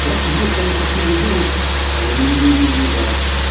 бірақ бізге соны көрсеткен кезде ол әлемнің деңгейіндегі адам